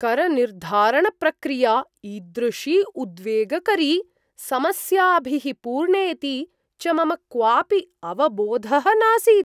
करनिर्धारणप्रक्रिया ईदृशी उद्वेगकरी, समस्याभिः पूर्णेति च मम क्वापि अवबोधः नासीत्।